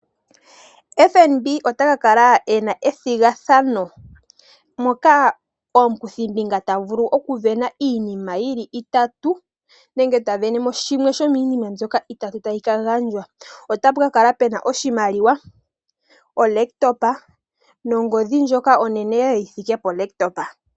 Obaanga yotango yopashigwa (FNB) otaka kala ena ethigathano moka omukuthi mbinga tavulu okwiilikolela po iinima itatu, nenge ota mono po shimwe shominima itatu tayi ka gandjwa. Otapu ka kala pena oshimaliwa olaptopa nongodhi ndjoka onene yi thike polaptopa.